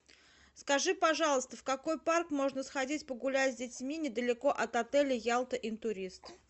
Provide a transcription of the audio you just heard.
скажи пожалуйста в какой парк можно сходить погулять с детьми недалеко от отеля ялта интурист